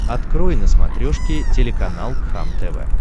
открой на смотрешке телеканал кхлм тв